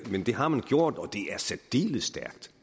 men det har man gjort og det er særdeles stærkt